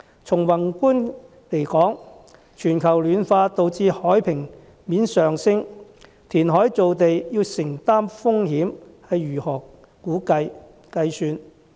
從宏觀來說，全球暖化導致海平面上升，填海造地要承擔的風險如何估算？